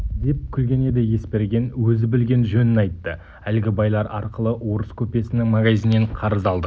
деп күлген еді есберген өзі білген жөнін айтты әлгі байлар арқылы орыс көпесінің магазинінен қарыз алдық